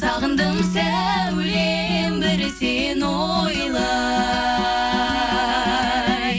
сағындым сәулем бір сені ойлай